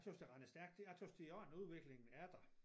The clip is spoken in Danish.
Tøs det rent stærk jeg tøs det i orden udviklingen er der